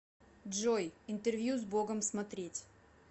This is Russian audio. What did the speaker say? джой интервью с богом смотреть